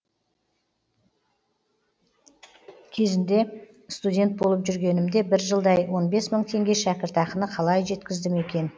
кезінде студент болып жүргенімде бір жылдай он бес мың теңге шәкіртақыны қалай жеткіздім екен